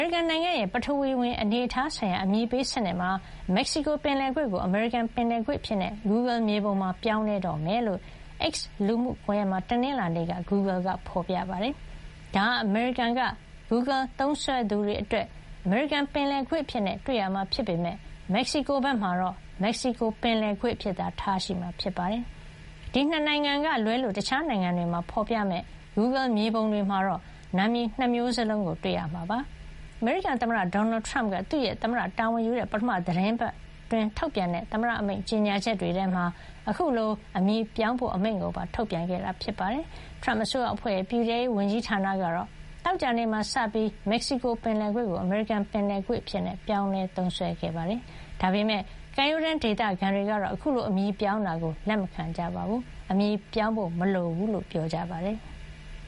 ရိကန် နိုင်ငံရဲ့ ပထဝီဝင် အနေအထား ဆိုင်ရာ အမည်ပေး စနစ်မှာ မက္ကဆီကို ပင်လယ်ကွေ့ကို အမေရိကန် ပင်လယ်ကွေ့ အဖြစ် Google မြေပုံမှာ ပြောင်းလဲတော့မှာ ဖြစ်ကြောင်း X လူမှုကွန်ရက်မှာ တနင်္လာနေ့မှာ Google က ဖော်ပြခဲ့တာ ဖြစ်ပါတယ်။ ဒါဟာ အမေရိကန်က Google သုံးစွဲသူတွေ အတွက် အမေရိကန် ပင်လယ်ကွေ့ အဖြစ် တွေ့ရမှာ ဖြစ်ပေမဲ့ မက္ကဆီကို ဘက်မှာတော့ မက္ကဆီကို ပင်လယ်ကွေ့ အဖြစ်သာ ထားရှိမှာ ဖြစ်ပါတယ်။ ဒီ နှစ်နိုင်ငံ ကလွဲလို့ တခြားနိုင်ငံတွေမှာ ဖော်ပြမယ့် Google မြေပုံတွေမှာတော့ နာမည် ၂ မျိုးလုံးကို တွေ့ရမှာ ဖြစ်ပါတယ်။ အမေရိကန် သမ္မတ Donald Trump က သူ့ရဲ့ သမ္မတ တာဝန်ယူတဲ့ ပထမ သီတင်းပတ်မှာ ထုတ်ပြန်တဲ့ သမ္မတ အမိန့်ကြေညာချက်တွေထဲမှာ အခုလို အမည်ပြောင်းဖို့ အမိန့်ကိုပါ ထုတ်ပြန်ခဲ့တာ ဖြစ်ပါတယ်။ Trump အစိုးရ အဖွဲ့ရဲ့ ပြည်ထဲရေး ဝန်ကြီးဌာနကတော့ သောကြာနေ့မှာစပြီး မက္ကဆီကို ပင်လယ်ကွေ့ကို အမေရိကန် ပင်လယ်ကွေ့ အဖြစ် ပြောင်းလဲ သုံးစွဲခဲ့ပါတယ်။ ဒါပေမဲ့ ကမ်းရိုးတန်း ဒေသခံတွေကတော့ အခုလို အမည်ပြောင်းတာကို လက်မခံကြပါဘူး။ အမည်ပြောင်းဖို့ မလိုဘူးလို့ ပြောပါတယ်။